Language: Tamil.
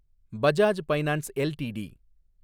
Bajaj finance LTD